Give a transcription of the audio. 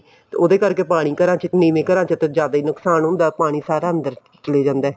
ਉਹਦੇ ਕਰਕੇ ਪਾਣੀ ਘਰਾਂ ਚ ਨੀਵੇਂ ਘਰਾਂ ਚ ਤਾਂ ਜ਼ਿਆਦਾ ਹੀ ਨੁਕਸਾਨ ਹੁੰਦਾ ਪਾਣੀ ਸਾਰਾ ਅੰਦਰ ਚਲੇ ਜਾਂਦਾ